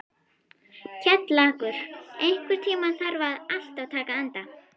Kjallakur, einhvern tímann þarf allt að taka enda.